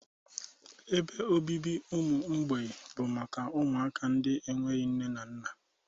Ebe obibi ụmụ mgbei bụ maka ụmụaka ndị enweghị nne na nna.